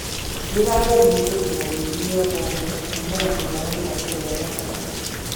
Rĩrarĩ ĩhĩthokĩra rĩũrũ rĩa mbomũ kũmĩra mwena wa ĩrathĩro rĩa gatagatĩ